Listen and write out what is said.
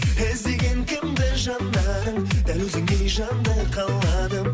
іздеген кімді жанарың дәл өзіңдей жанды қаладым